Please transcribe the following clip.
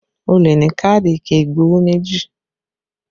O lè ní káàdì ike igbowó méjì